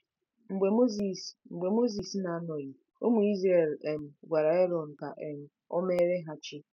Mgbe Mozis Mgbe Mozis na-anọghị, ụmụ Izrel um gwara Erọn ka um o meere ha chi.